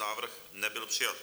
Návrh nebyl přijat.